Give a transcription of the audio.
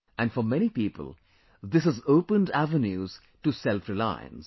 And for many people, this has opened the avenues to selfreliance